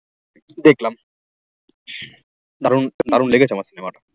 দেখলাম দারুন দারুন লেগেছে আমার cinema